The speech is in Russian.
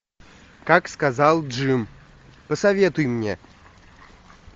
как сказал джим посоветуй мне